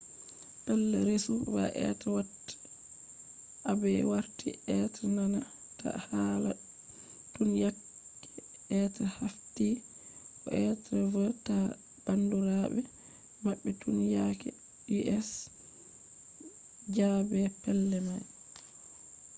pellei resu go be watta aibe warti be nana ta hala tun yake be haffti ko be wanna ta bandurabe mabbe tun yake us jabe pellei mai